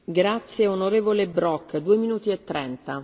Frau Präsidentin, Herr Kommissar, Kolleginnen und Kollegen!